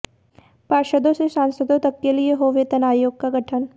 पार्षदों से सांसदो तक के लिए हो वेतन आयोग का गठन